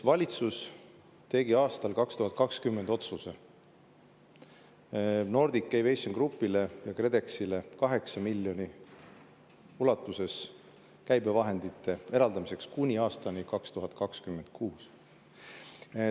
Valitsus tegi aastal 2020 otsuse Nordic Aviation Groupile KredExi eraldada 8 miljoni euro ulatuses käibevahendeid kuni aastani 2026.